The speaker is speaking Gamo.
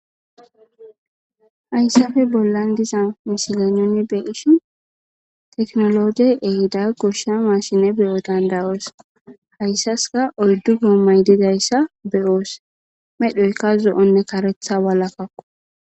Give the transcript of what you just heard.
hayssafe bollan diza misile nuni beishin teknologey ehida gusha maashine beyo dandayoos hayssaska oldu guommay didayssa beyoos medhoyka zo7onne karetha walakkakko